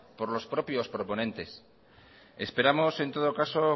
por los propios proponentes esperamos en todo caso